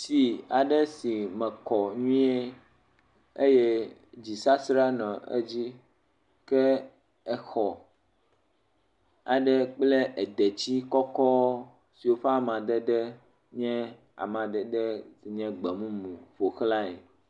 Tsi aɖe si me nyuie eye dzisasra nɔ edzi, ke exɔ aɖe kple deti kɔkɔ aɖe siwo ƒe amadede nye amadede gbemumu la ƒo xlae.